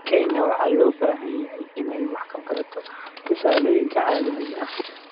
Kenya waxay u baahan tahay inay wax ka barato tusaalooyinka caalamiga ah.